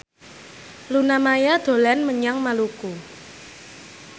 Luna Maya dolan menyang Maluku